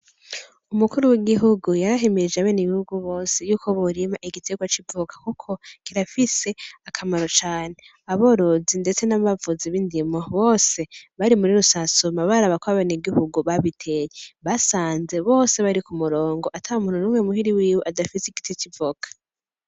Umukuru w’igihugu yarahimirije abenegihugu bose yuko borima igiterwa c’ivoka Kuko kirafise akamaro cane , aborozi ndetse n’abavuzi b’indimo bose bari muri rusansuma baraba kw’abenegihugu babiteye basanze bose bati ku murongo ata muntu numwe muhira wiwe adafise igiti c’ivoka.